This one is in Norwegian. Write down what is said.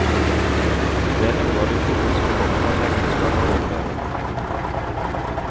Det er noe av det gode som kommer når et ekteskap har overlevet.